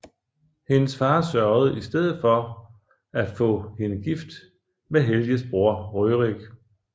Hendes far sørgede i stedet for at få hende gift med Helges bror Rørik